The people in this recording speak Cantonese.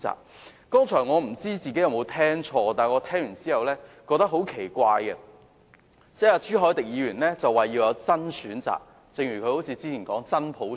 我剛才不知有否聽錯，但我感到很奇怪的是，朱凱廸議員表示要有"真選擇"，正如他之前所說要有"真普選"。